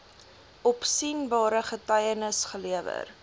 opsienbare getuienis gelewer